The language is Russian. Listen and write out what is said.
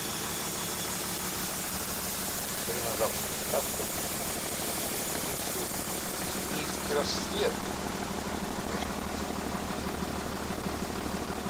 закажи на завтра доставку чай гринфилд кенийский рассвет пачка двести грамм